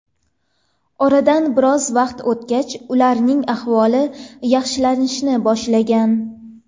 Oradan biroz vaqt o‘tgach, ularning ahvoli yaxshilanishni boshlagan.